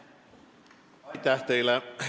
Aitäh teile!